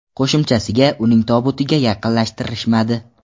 Qo‘shimchasiga, uning tobutiga yaqinlashtirishmadi.